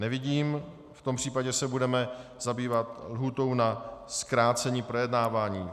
Nevidím, v tom případě se budeme zabývat lhůtou na zkrácení projednávání.